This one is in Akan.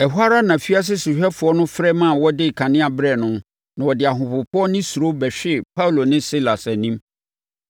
Ɛhɔ ara afiase sohwɛfoɔ no frɛ maa wɔde kanea brɛɛ no na ɔde ahopopoɔ ne suro bɛhwee Paulo ne Silas anim.